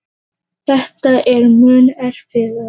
Þetta er mun erfiðara.